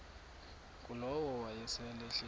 ngulowo wayesel ehleli